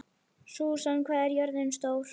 Susan, hvað er jörðin stór?